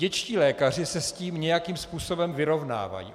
Dětští lékaři se s tím nějakým způsobem vyrovnávají.